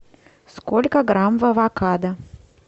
сколько грамм в авокадо